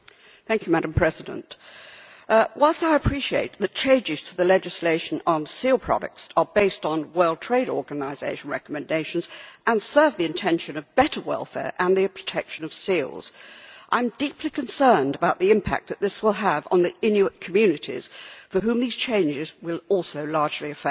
Madam President, whilst I appreciate that changes to the legislation on seal products are based on World Trade Organisation recommendations and serve the intention of better welfare and the protection of seals, I am deeply concerned about the impact that this will have on the Inuit communities whom these changes will also largely affect.